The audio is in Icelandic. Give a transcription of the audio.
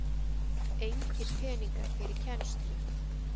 Engir peningar fyrir kennslu